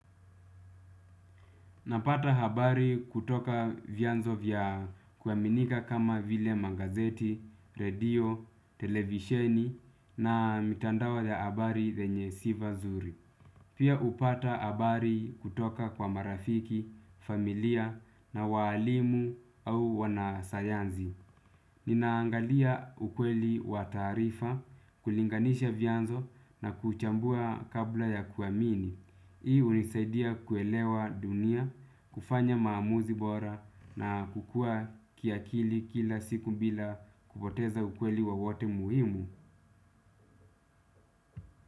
Napata habari kutoka vyanzo vya kuaminika kama vile magazeti, redio, televisheni na mitandao ya habari zenye sifa zuri. Pia hupata habari kutoka kwa marafiki, familia na walimu au wanasayansi. Ninaangalia ukweli wa taarifa, kulinganisha vyanzo na kuchambua kabla ya kuamini. Hii hunisaidia kuelewa dunia, kufanya maamuzi bora na kukua kiakili kila siku bila kupoteza ukweli wowote muhimu.